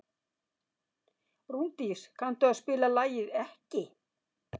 Rúndís, kanntu að spila lagið „Ekki“?